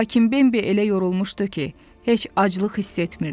Lakin Bembi elə yorulmuşdu ki, heç aclıq hiss etmirdi.